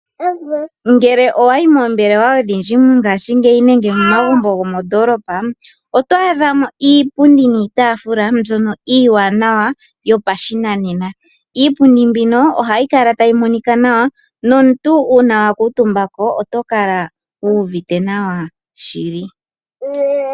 Ngele owayi moombelewa odhindji nenge momagumbo gomoondolopa oto adhamo iipundi niitafula mbyono iiwanawa yopashinanena. Iipundi mbino ohayi kala tayi monika nawa. Nomuntu ngele wa kuntumbako oto kala wu uvite nawa shili.